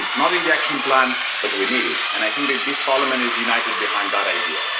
It's not in the action plan, but we need it and I think that this Parliament is united behind that idea.